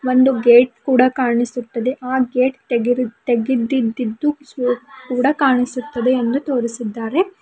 ಒಂದು ಗೇಟ್ ಕೂಡ ಕಾಣಿಸುತ್ತಿದೆ ಆ ಗೇಟ್ ತೆಗಿರಿ ತೆಗೆದಿದ್ದುದ್ದು ಕೂಡ ಕಾಣಿಸುತ್ತದೆ ಎಂದು ತೋರಿಸಿದ್ದಾರೆ.